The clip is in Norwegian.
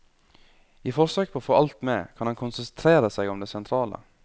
I forsøk på å få alt med, kan han konsentrere seg om det sentrale.